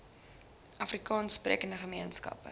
afrikaans sprekende gemeenskappe